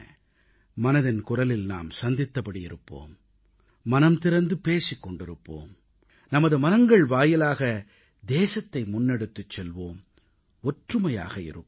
மனதின் குரலில் நாம் சந்தித்தபடி இருப்போம் மனம் திறந்து பேசிக் கொண்டிருப்போம் நமது மனங்கள் வாயிலாக தேசத்தை முன்னெடுத்துச் செல்வோம் ஒற்றுமையாக இருப்போம்